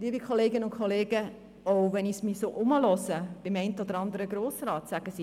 Liebe Kolleginnen und Kollegen, auch wenn ich mich bei dem einen oder anderen Grossrat umhöre, wird gesagt: